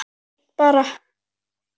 Allt fínt bara.